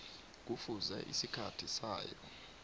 kufuze isikhathi sayo